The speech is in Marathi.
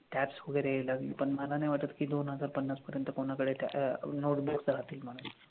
tax वगैरे लागन पन मला नाई वाटत की दोन हजार पन्नासपर्यंत कोनाकडे राहतील म्हनून